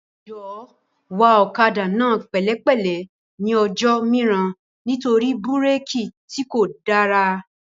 Jọ̀wọ́ wa ọ̀kadà náà pẹ̀lẹ́ pẹ̀lẹ́ ní ọjọ́ mìíràn nítorí búrékì tí kò dára